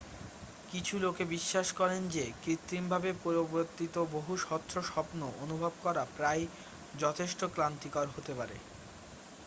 কিছু লোকে বিশ্বাস করেন যে কৃত্রিমভাবে প্রবর্তিত বহু স্বচ্ছ স্বপ্ন অনুভব করা প্রায়ই যথেষ্ট ক্লান্তিকর হতে পারে